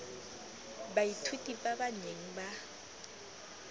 baithuti ba ba neng ba